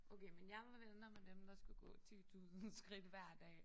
Okay men jeg var venner med dem der skulle gå 10000 skridt hver dag